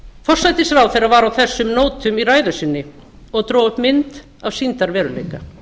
forsætisráðherra var á þessum nótum í ræðu sinni og dró upp mynd af sýndarveruleika